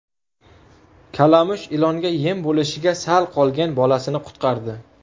Kalamush ilonga yem bo‘lishiga sal qolgan bolasini qutqardi .